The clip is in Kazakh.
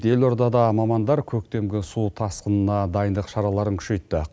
елордада мамандар көктемгі су тасқынына дайындық шараларын күшейтті